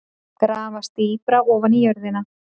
Grafast dýpra ofan í jörðina.